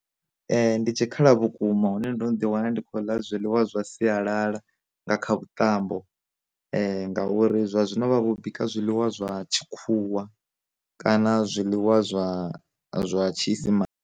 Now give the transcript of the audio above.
Ndi tshikhala vhukuma hune ndo no ḓi wana ndi khou ḽa zwiḽiwa zwa sialala nga kha vhuṱambo, ngauri zwa zwino vhavho u bika zwiḽiwa zwa tshikhuwa kana zwiḽiwa zwa zwa tshiisimane.